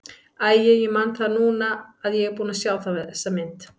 Æi, ég man það núna að ég er búinn að sjá þessa mynd.